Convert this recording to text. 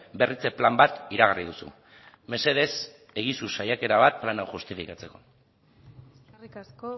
berritze plan bat iragarri duzu mesedez egizu saiakera bat plan hau justifikatzeko eskerrik asko